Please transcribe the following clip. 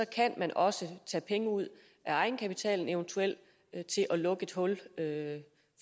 kan man også tage penge ud af egenkapitalen eventuelt til at lukke et hul